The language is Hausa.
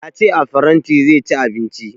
Ya ce a faranti zai ci abinci